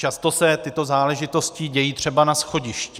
Často se tyto záležitosti dějí třeba na schodišti.